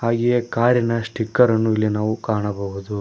ಹಾಗೆಯೇ ಕಾರಿನ ಸ್ಪೀಕರ್ ಅನ್ನು ಇಲ್ಲಿ ನಾವು ಕಾಣಬಹುದು.